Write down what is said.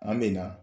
An bɛ na